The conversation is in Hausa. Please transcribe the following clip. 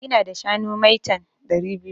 Ina da shanu maitan (ɗari biyu)